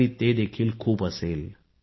स्वतःवर विश्वास ठेवा आणि यासाठी मेहनत करा